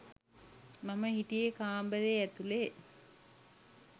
මම හිටියෙ කාමරේ ඇතුළෙ.